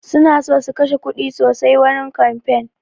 Suna so su kashe kuɗi sosai wurin kamfain